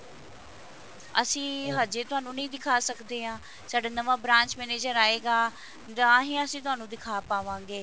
ਅਸੀਂ ਹਜੇ ਤੁਹਾਨੂੰ ਨਹੀਂ ਦਿਖਾ ਸਕਦੇ ਹਾਂ ਸਾਡਾ ਨਵਾਂ branch manager ਆਏਗਾ ਤਾਂਹੀਂ ਅਸੀਂ ਤੁਹਾਨੂੰ ਦਿਖਾ ਪਾਵਾਂਗੇ